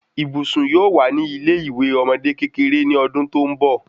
Ibùsùn yóò wà ní ilé iwe ọmọde kékeré ni ọdún tó n bọ